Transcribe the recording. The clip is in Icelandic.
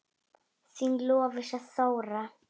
Þín Lovísa Þóra.